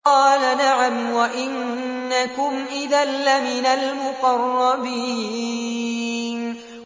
قَالَ نَعَمْ وَإِنَّكُمْ إِذًا لَّمِنَ الْمُقَرَّبِينَ